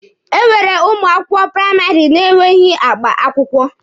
E nwere ụmụ akwụkwọ praịmarị na-enweghị akpa akwụkwọ.